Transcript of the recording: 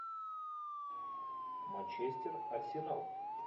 манчестер арсенал